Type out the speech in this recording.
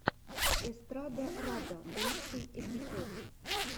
эстрадарада лучший эпизод